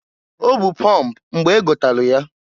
O bu pọmp mgbe gotalụ ya.